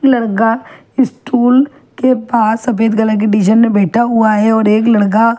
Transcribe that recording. लड़का स्टूल के पास सफ़ेद कलर के डिज़ाइन में बैठा हुआ है और एक लड़का --